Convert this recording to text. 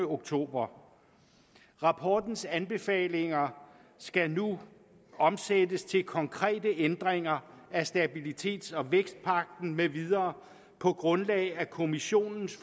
oktober rapportens anbefalinger skal nu omsættes til konkrete ændringer af stabilitets og vækstpagten med videre på grundlag af kommissionens